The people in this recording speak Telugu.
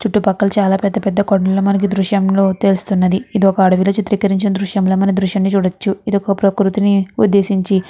చుట్టూ పక్కల చాలా కొండలు మనకి ఈ దృశ్యం లో తెలుస్తున్నది. ఇది ఒక అడవిలో చిత్రీకరించిన దృశ్యం లా మనం ఈ దృశ్యాన్ని చూడచ్చు. ఇది ఒక ప్రకృతిని ఉద్దేశించి --